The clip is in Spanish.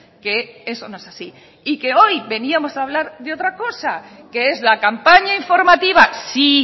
que eso no es así y que hoy veníamos a hablar de otra cosa que es la campaña informativa sí